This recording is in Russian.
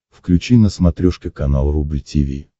включи на смотрешке канал рубль ти ви